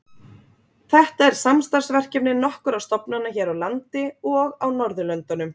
Þetta er samstarfsverkefni nokkurra stofnana hér á landi og á Norðurlöndunum.